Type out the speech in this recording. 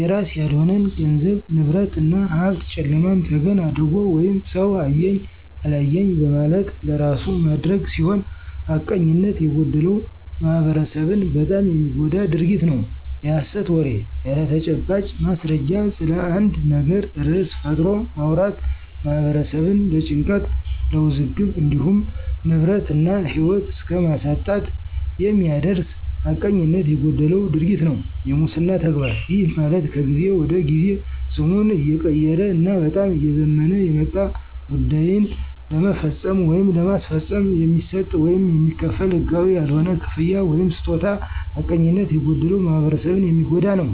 የራስ ያልሆነን ገንዘብ፣ ንብረት እና ሀብት ጨለማን ተገን አድርጎ ወይም ሠው አየኝ አላየኝ በማለት ለራሱ ማድረግ ሲሆን ሐቀኝነት የጎደለው ማህበረሠብን በጣም የሚጎዳ ድርጊት ነው። -የሐሠት ወሬ፦ ያለተጨባጭ ማስረጃ ስለአንድ ነገር ርዕስ ፈጥሮ ማውራት ማህበረሠብን ለጭንቀት ለውዝግብ እንዲሁም ንብረት እና ህይወት እስከማሳጣት የሚያደርስ ሀቀኝነት የጎደለው ድርጊት ነው። -የሙስና ተግባር፦ ይህ ማለት ከጊዜ ወደ ጊዜ ስሙን እየቀየረ እና በጣም እየዘመነ የመጣ ጉዳይን ለመፈፀም ወይም ለማስፈፀም የሚሰጥ ወይም የሚከፈል ህጋዊ ያልሆነ ክፍያ ወይምስጦታ ሐቀኝነት የጎደለው ማህበረሰብን የሚጎዳ ነው።